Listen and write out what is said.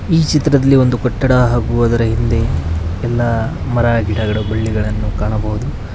ಈ ಚಿತ್ರದಲ್ಲಿ ಒಂದು ಕಟ್ಟಡ ಹಾಗೂ ಅದರ ಹಿಂದೆ ಎಲ್ಲಾ ಮರ ಗಿಡಗಳು ಬಳ್ಳಿಗಳನ್ನು ಕಾಣಬಹುದು.